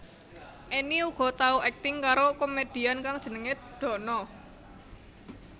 Enny uga tau akting karo komedian kang jenengé Dono